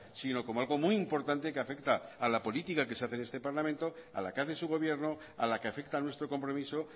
sino como algo muy importante que afecta a la política que se hace en este parlamento a la que hace su gobierno a la que afecta a nuestro compromiso